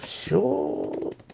все